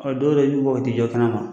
Ɔ dɔw yɛrɛ b'i bɔ ka taa u jɔ kɛnɛ ma.